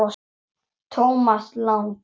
Thomas Lang